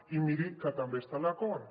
i miri que també està en l’acord